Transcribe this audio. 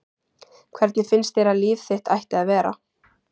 Hvernig finnst þér að líf þitt ætti að vera?